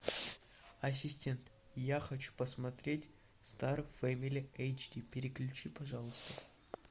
ассистент я хочу посмотреть стар фэмили эйч ди переключи пожалуйста